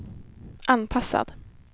anpassad